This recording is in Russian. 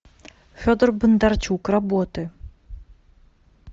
федор бондарчук работы